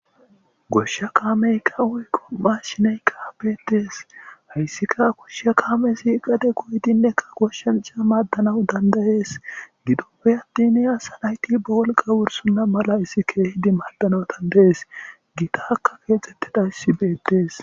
Goshsha kaamey ka wuy kom7a shiney kaabetees hayssika akoshsha kaame siiqade goydinnekka goshshanca maaddanawu dandayees gidoppe attine asa nayti ba wolqa wursunna mala issi kehidi maaddanatandayes gita kka keexxette dha issi beettees.